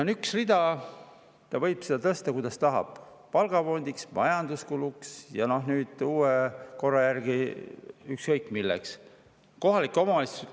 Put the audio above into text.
On üks rida ja ta võib sealt raha tõsta, kuidas tahab, kas palgafondi või majanduskuludeks ja uue korra järgi ükskõik mille jaoks.